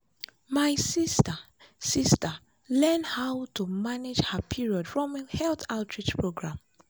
my sister sister learn how to manage her period from health outreach program.